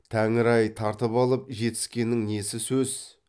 тәңір ай тартып алып жетіскеннің несі сөз